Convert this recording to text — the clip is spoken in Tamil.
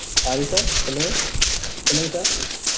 sorry sir சொல்லுங்க சொல்லுங்க sir